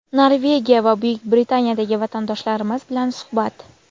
Norvegiya va Buyuk Britaniyadagi vatandoshlarimiz bilan suhbat.